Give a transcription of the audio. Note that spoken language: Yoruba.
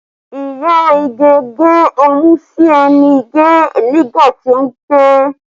Iya Ige gbé ọmú sí ẹnu Ige nígbà tí ó ń ké